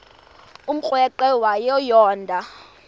umrweqe wayo yoonda